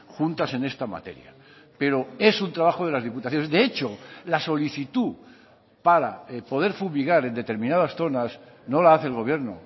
juntas en esta materia pero es un trabajo de las diputaciones de hecho la solicitud para poder fumigar en determinadas zonas no la hace el gobierno